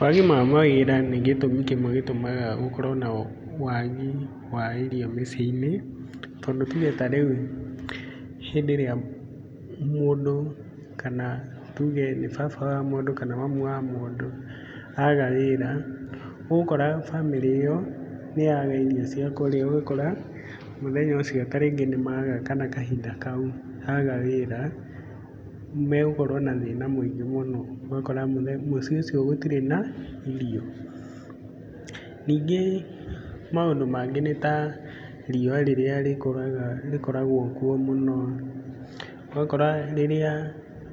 Wagi wa mawĩra nĩ gĩtũmi kĩmwe gĩtũmaga gũkorwo na wagi wa irio mĩciĩ-inĩ. Tondũ tuge ta rĩu hĩndĩ ĩrĩa mũndũ kana tuge nĩ baba wa mũndũ kana mamu wa mũndũ aga wĩra, ũgũkora bamĩrĩ ĩyo nĩ yaga irio cia kũrĩa. Ũgakora mũthenya ũcio ta rĩngĩ nĩ maga kana kahinda kau maga wĩra nĩ megũkorwo na thĩna mũingĩ mũno. Ũgakora mũciĩ ũcio gũtirĩ na irio. Ningĩ maũndũ mangĩ nĩ ta riũa rĩrĩa rĩkoragwo kuo mũno. Ũgakora rĩrĩa